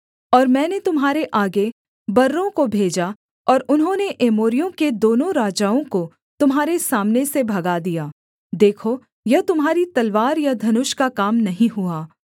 और मैंने तुम्हारे आगे बर्रों को भेजा और उन्होंने एमोरियों के दोनों राजाओं को तुम्हारे सामने से भगा दिया देखो यह तुम्हारी तलवार या धनुष का काम नहीं हुआ